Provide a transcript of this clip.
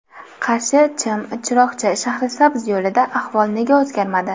Qarshi Chim Chiroqchi Shahrisabz yo‘lida ahvol nega o‘zgarmadi?